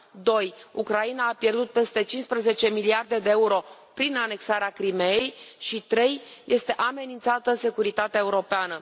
2 Ucraina a pierdut peste cincisprezece miliarde de euro prin anexarea Crimeii și 3 este amenințată securitatea europeană.